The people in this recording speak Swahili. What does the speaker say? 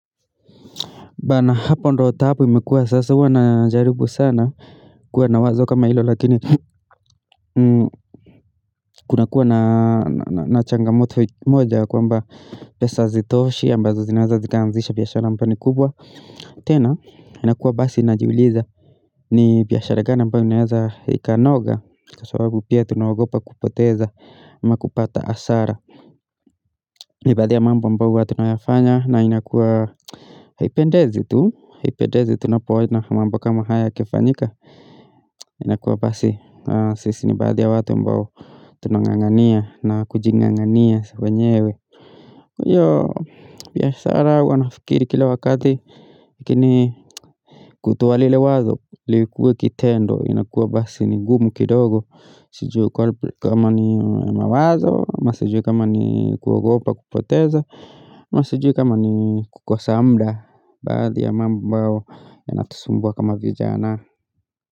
Bana hapo ndo taabu imekuwa sasa huwa najaribu sana kuwa na wazo kama ilo lakini kunakuwa na changamoto moja ya kwamba pesa hazitoshi ambazo zinaweza zikaanzisha biashara ambayo ni kubwa tena inakuwa basi najiuliza ni biashara gani ambato inaeza ikanoga Kwa sababu pia tunaogopa kupoteza ama kupata asara ni baadhi ya mambo ambayo huwa tunayafanya na inakuwa Haipendezi tu Hipendezi tunapoona mambo kama haya yakifanyika inakuwa basi sisi ni baadhi ya watu ambao tunang'ang'ania na kujing'ang'ania wenyewe hiyo biashara huwa nafikiri kila wakati Lakini kutoa lile wazo likue kitendo inakuwa basi ni ngumu kidogo Sijui kama ni mawazo, ama sijui kama ni kuogopa kupoteza ama sijui kama ni kukosa mda baadhi ya mambo ambayo yanatusumbua kama vijana.